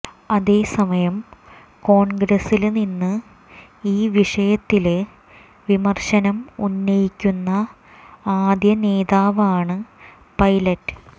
അതേസമയം കോണ്ഗ്രസില് നിന്ന് ഈ വിഷയത്തില് വിമര്ശനം ഉന്നയിക്കുന്ന ആദ്യ നേതാവാണ് പൈലറ്റ്